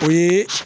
O ye